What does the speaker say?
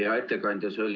Hea ettekandja!